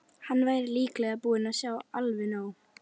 Hann væri líklega búinn að sjá alveg nóg.